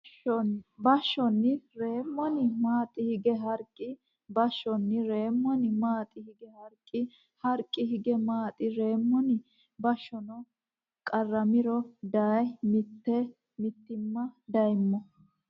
Bashshonni reemmoni maaxi hige Harqi Bashshonni reemmoni maaxi hige Harqi Harqi hige maaxi reemmoni Bashshonni qarramiro daye mitii me dayommo !